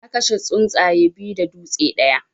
Na kashe tsuntsaye biyu da dutse ɗaya.